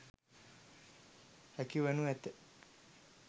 හැකි වනු ඇත.